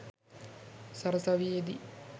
සරසවියේ දී